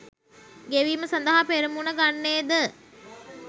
ගෙවීම සඳහා පෙරමුණ ගන්නේද